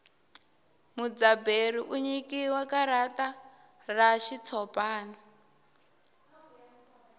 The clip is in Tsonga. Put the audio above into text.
mudzaberi u nyikiwa karata ra xitshopani